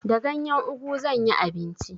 Da ganyen ugu zan yi abinci.